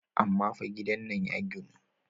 Amma fa gidan nan ya ginu.